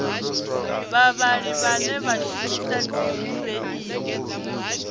vhavhali vhane vha shumisa dzibureiḽi